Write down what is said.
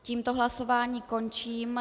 Tímto hlasování končím.